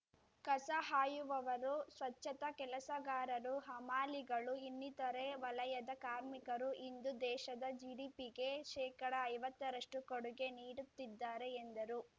ಕಸ ಹಾಯುವವರು ಸ್ವಚ್ಚತಾ ಕೆಲಸಗಾರರು ಹಮಾಲಿಗಳು ಇನ್ನಿತರೆ ವಲಯದ ಕಾರ್ಮಿಕರು ಇಂದು ದೇಶದ ಜಿಡಿಪಿಗೆ ಶೇಕಡ ಐವತ್ತ ರಷ್ಟು ಕೊಡುಗೆ ನೀಡುತ್ತಿದ್ದಾರೆ ಎಂದರು